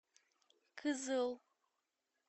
кызыл